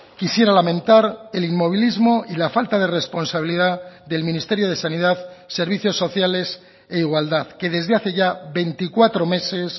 quisiera lamentar el inmovilismo y la falta de responsabilidad del ministerio de sanidad servicios sociales e igualdad que desde hace ya veinticuatro meses